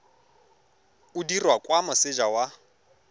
o dirwa kwa moseja wa